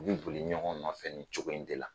U bi boli ɲɔgɔn nɔfɛ ni cogo in de la